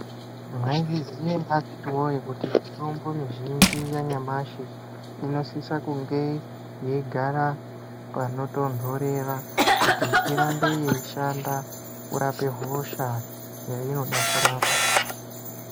Mwaizviziya ere akhiti woye kuti mitombo mizhinji yanyamashi inosisa kunge yeigara panotontorera kuti iramba yeishanda kurapa hosha yeyinode kurapa.